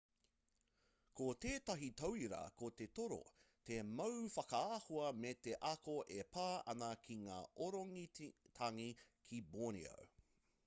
ko tētahi tauira ko te toro te mau whakaahua me te ako e pā ana ki ngā orangitangi ki borneo